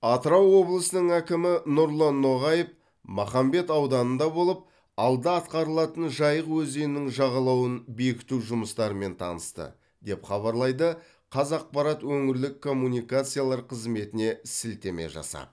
атырау облысының әкімі нұрлан ноғаев махамбет ауданында болып алда атқарылатын жайық өзенінің жағалауын бекіту жұмыстарымен танысты деп хабарлайды қазақпарат өңірлік коммуникациялар қызметіне сілтеме жасап